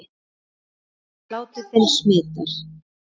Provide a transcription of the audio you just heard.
Hlátur þinn smitar.